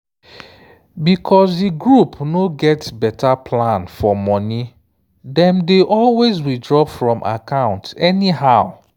because di group no get better plan for money dem dey always withdraw from account anyhow."**